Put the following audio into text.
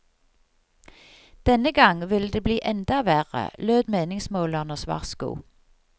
Denne gang ville det bli enda verre, lød meningsmålernes varsko.